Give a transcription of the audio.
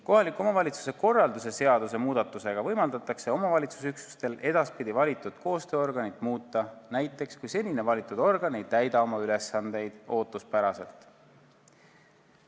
Kohaliku omavalitsuse korralduse seaduse muudatusega võimaldatakse omavalitsusüksustel edaspidi valitud koostööorganit muuta, näiteks kui senine valitud organ ei täida oma ülesandeid ootuspäraselt.